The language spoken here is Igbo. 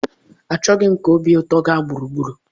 Achọghị m ka m nwee obi ụtọ gaa gburugburu.